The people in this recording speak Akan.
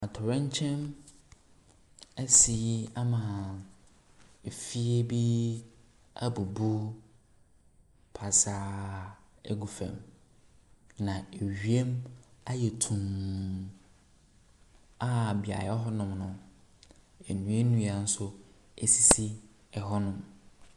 Atɔrɛnkyɛm ɛsi ama efie bi ɛbubu pasaa ɛgu fam. Na ewiem ayɛ tuum a beaeɛ hɔ nom no nnuanua nso esisi ɛhɔ nom.